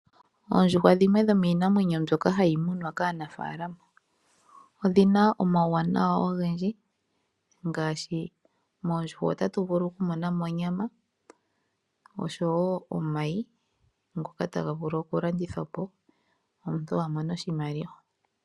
Oondjuhwa dhimwe dhomiinamwenyo mbyoka hayi munwa kaanafaalama. Odhi na omauwanawa ogendji ngaashi moondjuhwa otatu vulu oku mona mo onyama osho wo omayi ngoka ta ga vulu oku landithwa po omuntu a mone oshimaliwa.